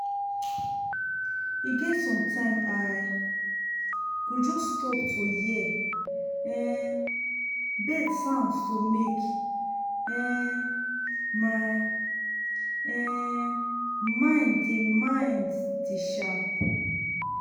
e get sometime i go just stop to hear um bird sound to make um my um mind dey mind dey sharp.